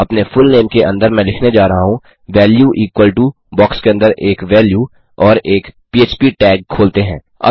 अपने फुलनेम के अंदर मैं लिखने जा रहा हूँ वैल्यू इक्वल टो बॉक्स के अंदर एक वैल्यू और एक फ्पटैग खोलते हैं